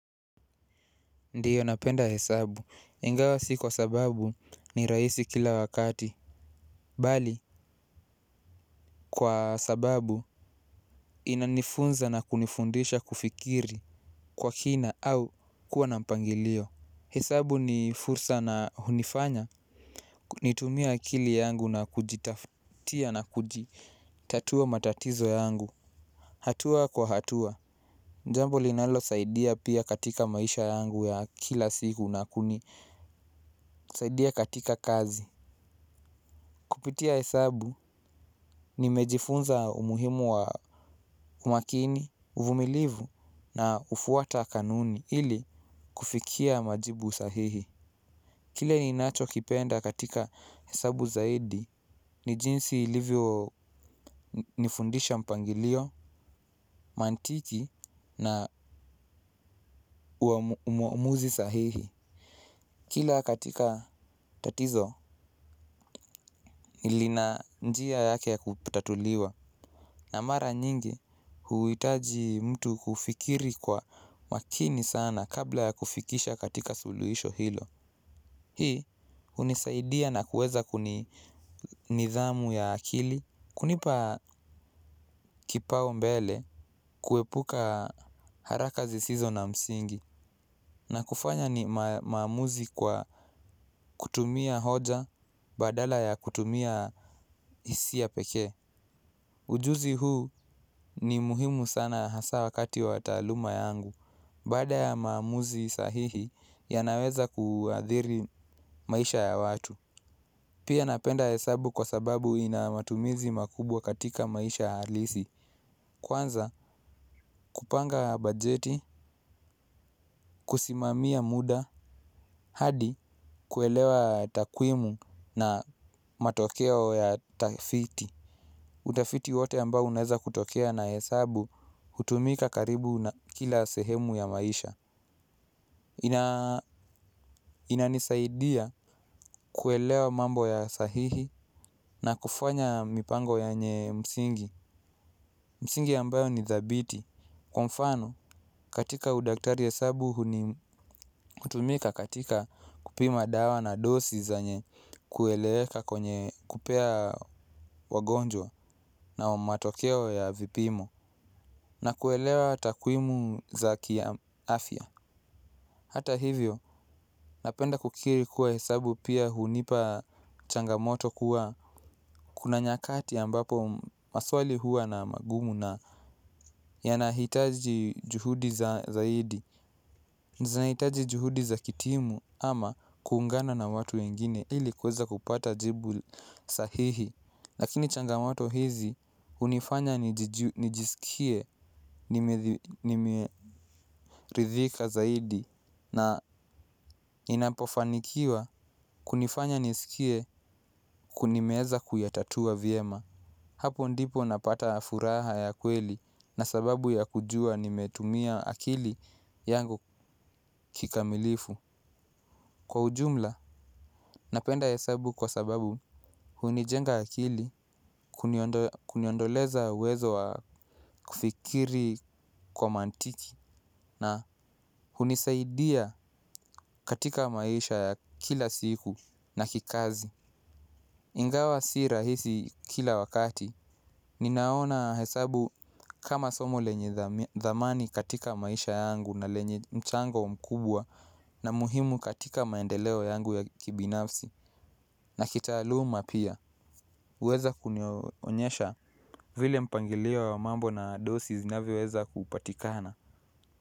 Ndiyo napenda hesabu, ingawa si kwa sababu ni rahisi kila wakati. Bali kwa sababu inanifunza na kunifundisha kufikiri kwa kina au kuwa na mpangilio. Hesabu ni fursa na hunifanya nitumie akili yangu na kujitafutia na kujitatua matatizo yangu. Hatua kwa hatua jambo linalosaidia pia katika maisha yangu ya kila siku na kusaidia katika kazi. Kupitia hesabu nimejifunza umuhimu wa umakini, uvumilivu na hufuata kanuni ili kufikia majibu sahihi. Kile ninachokipenda katika hesabu zaidi ni jinsi ilivyonifundisha mpangilio, mantiki na uamuzi sahihi. Kila katika tatizo lina njia yake ya kutatuliwa. Na mara nyingi huhitaji mtu kufikiri kwa makini sana kabla ya kufikisha katika suluhisho hilo. Hii hunisaidia na kuweza kuni nidhamu ya akili. Kunipa kipaumbele kuepuka haraka zisizo na msingi na kufanya maamuzi kwa kutumia hoja badala ya kutumia hisia pekee. Ujuzi huu ni muhimu sana hasa wakati wa taaluma yangu. Baada ya maamuzi sahihi yanaweza kuadhiri maisha ya watu. Pia napenda hesabu kwa sababu ina matumizi makubwa katika maisha halisi. Kwanza kupanga bajeti, kusimamia muda, hadi kuelewa takwimu na matokeo ya tafiti. Utafiti wote ambao unaeza kutokea na hesabu hutumika karibu na kila sehemu ya maisha. Inanisaidia kuelewa mambo ya sahihi na kufanya mipango yenye msingi. Msingi ambayo ni thabiti. Kwa mfano katika udaktari hesabu hutumika katika kupima dawa na dosi zenye kueleweka kwenye kupea wagonjwa na matokeo ya vipimo. Na kuelewa takwimu za kiafya hata hivyo napenda kukiri kuwa hesabu pia hunipa changamoto kuwa kuna nyakati ambapo maswali huwa na magumu na yanahitaji juhudi za zaidi. Zinahitaji juhudi za kitimu ama kuungana na watu wengine ili kuweza kupata jibu sahihi. Lakini changamoto hizi hunifanya nijisikie nimeridhika zaidi na ninapofanikiwa kunifanya nisikie nimeweza kuyatatua vyema. Hapo ndipo napata furaha ya kweli na sababu ya kujua nimetumia akili yangu kikamilifu. Kwa ujumla napenda hesabu hunijemga akili, kuniondo kuniondoleza uwezo wa kufikiri kwa mantiki na hunisaidia katika maisha ya kila siku na kikazi. Ingawa si rahisi kila wakati, ninaona hesabu kama somo lenye thamani katika maisha yangu na lenye mchango mkubwa na muhimu katika maendeleo yangu ya kibinafsi na kitaaluma pia. Huweza kunionyesha vile mpangilio wa mambo na dosi zinavyoweza kupatikana.